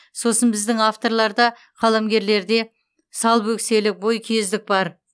сосын біздің авторларда қаламгерлерде салбөкселік бойкүйездік бар